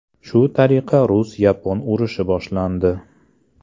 Shu tariqa rus-yapon urushi boshlandi.